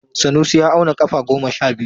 Sanusi ya auna kafa goma sha biyu.